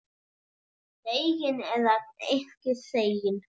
Þegin eða ekki þegin.